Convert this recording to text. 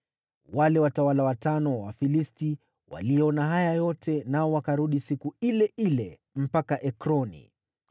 Wale watawala watano wa Wafilisti waliona haya yote, nao wakarudi siku ile ile mpaka Ekroni.